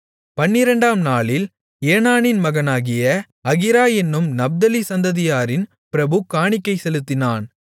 பன்னிரண்டாம் நாளில் ஏனானின் மகனாகிய அகீரா என்னும் நப்தலி சந்ததியாரின் பிரபு காணிக்கை செலுத்தினான்